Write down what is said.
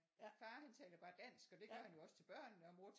Far han taler bare dansk og det gør han jo også til børnene og mor